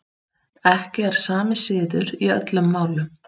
Ekki er sami siður í öllum málum.